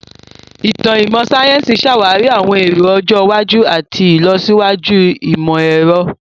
Ìtàn ìmọ̀ sáyẹ́sì ṣàwárí àwọn èrò ọjọ́ iwájú àti ìlọsíwájú ìmọ̀-ẹ̀rọ.